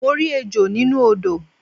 Mo rí ejò nínú odò